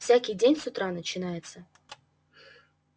всякий день с утра начинается